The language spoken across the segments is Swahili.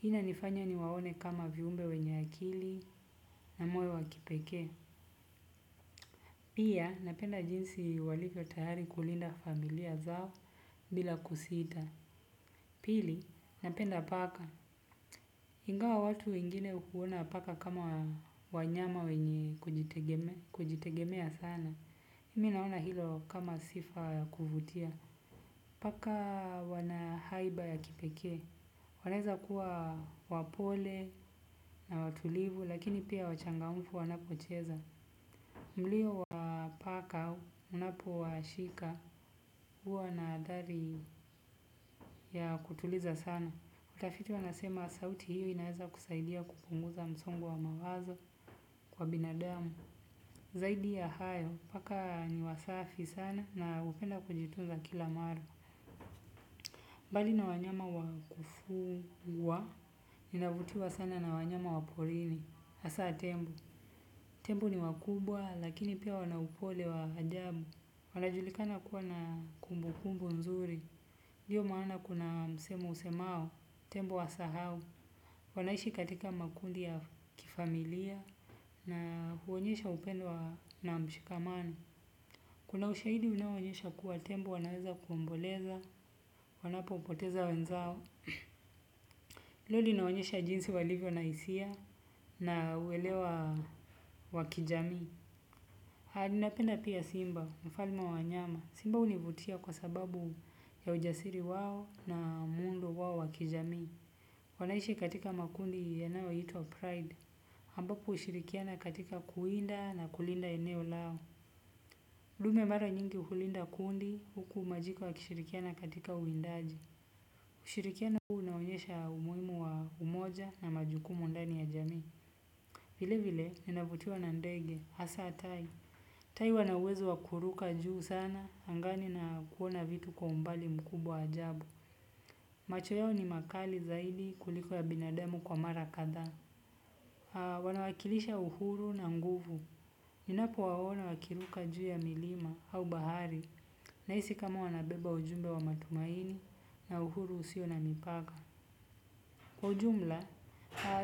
Hii inanifanya niwaone kama viumbe wenye akili na moyo wa kipekee. Pia napenda jinsi walivyo tayari kulinda familia zao bila kusita. Pili, napenda paka. Ingawa watu wengine huona paka kama wanyama wenye kujitegemea sana. Mimi naona hilo kama sifa ya kuvutia. Paka wana haiba ya kipekee, wanaweza kuwa wapole na watulivu, lakini pia wachangamfu wanapocheza. Mliyo wa paka unapo washika, huwa na athari ya kutuliza sana. Watafiti wanasema sauti hiyo inaweza kusaidia kupunguza msongo wa mawazo kwa binadamu. Zaidi ya hayo, paka ni wasafi sana na hupenda kujitunza kila mara. Bali na wanyama wa kufugwa, ninavutiwa sana na wanyama wa porini, hasa tembo. Tembo ni wakubwa, lakini pia wana upole wa ajabu. Wanajulikana kuwa na kumbu kumbu nzuri. Ndio maana kuna msemo usemao, tembo asahau. Wanaishi katika makundi ya kifamilia. Huonyesha upendo na ushikamano. Kuna ushahidi unaoonyesha kuwa tembo wananweza kuomboleza wanapo poteza wenzao. Hilo linaonyesha jinsi walivyo na hisia, na uelewa wa kijamii. Napenda pia simba, mfalmw wa wanyama. Simba hunivutia kwa sababu ya ujasiri wao na muundo wao wa kijamii. Wanaishi katika makundi yanayoitwa pride, ambapo hushirikiana katika kuwinda na kulinda eneo lao. Ndume mara nyingi hulinda kundi, huku majiko yakishirikiana katika uwindaji. Ushirikiano huu unaonyesha umuhimu wa umoja na majukumu ndani ya jamii. Vile vile ninavutiwa na ndege, hasaa tai. Tai wana uwezo wa kuruka juu sana angani na kuona vitu kwa umbali mkubwa ajabu. Macho yao ni makali zaidi kuliko ya binademu kwa mara kadhaa. Wanawakilisha uhuru na nguvu. Ninapowaona wakiruka juu ya milima au bahari. Nahisi kama wanabeba ujumbe wa matumaini na uhuru usio na mipaka. Kwa ujumla,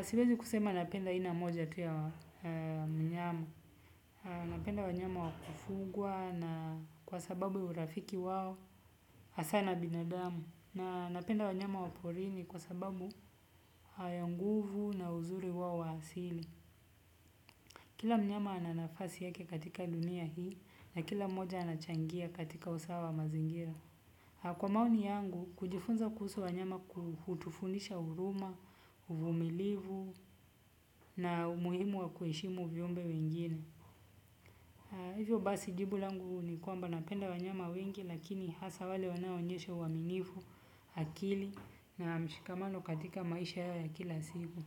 siwezi kusema napenda aina moja tu ya mnyama. Napenda wanyama wa kufugwa na kwa sababu urafiki wao hasaa na binadamu. Na napenda wanyama wa porini kwa sababu hayo nguvu na uzuri wao wa asili. Kila mnyama ana nafasi yake katika dunia hii na kila mmoja anachangia katika usawa wa mazingira. Kwa maoni yangu, kujifunza kuhusu wanyama ku hutufundisha huruma, uvumilivu na umuhimu wa kuheshimu viumbe wengine. Hivyo basi jibu langu ni kwamba napenda wanyama wengi lakini hasa wale wanaoonyeshe uaminifu, akili na mshikamano katika maisha yao ya kila siku.